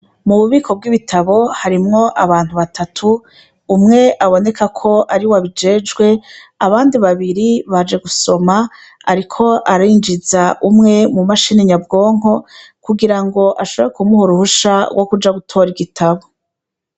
Mu bubiko bw'ibitabo harimwo abantu batatu umwe aboneka ko ari we abijejwe abandi babiri baje gusoma, ariko arinjiza umwe mu mashini nyabwonko kugira ngo ashobore kumuhur uhusha wo kuja gutora igitabo.